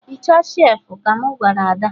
Hichaa shelfụ! ka mụ gwara Ada